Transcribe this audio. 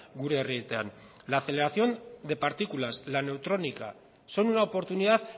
gure herrietan la aceleración de partículas la neutrónica son una oportunidad